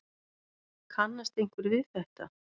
Kannast einhver við þetta?